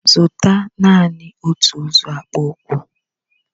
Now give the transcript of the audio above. Zụta Naanị otu ụzọ akpụkpọ ụkwụ!